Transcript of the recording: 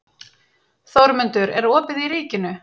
Þórmundur, er opið í Ríkinu?